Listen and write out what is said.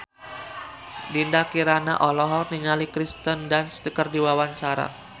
Dinda Kirana olohok ningali Kirsten Dunst keur diwawancara